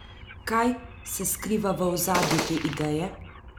Kaj se skriva v ozadju te ideje?